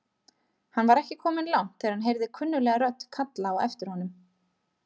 Hann var ekki kominn langt þegar hann heyrði kunnuglega rödd kalla á aftir honum.